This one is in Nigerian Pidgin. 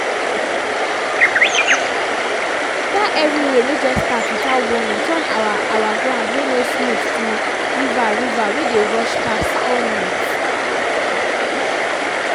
dat heavy rain wey just start without warning turn our our ground wey no smooth to river river wey dey rush pass all night.